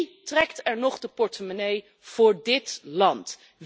Wie trekt er nog de portemonnee voor dit land?